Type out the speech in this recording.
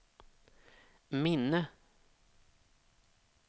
minne